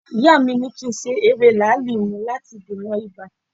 Ìyá mi ni kí n se ewé làálì mu láti dènà ibà